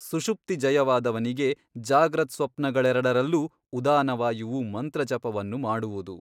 ಸುಷುಪ್ತಿಜಯವಾದವನಿಗೆ ಜಾಗ್ರತ್ಸ್ವಪ್ನಗಳೆರಡರಲ್ಲೂ ಉದಾನವಾಯುವು ಮಂತ್ರಜಪವನ್ನು ಮಾಡುವುದು.